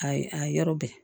A ye a yɔrɔ bɛɛ